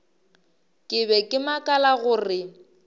ke be ke makala gore